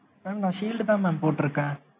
mam நான் shield தான் mam போட்டு இருக்கேன்.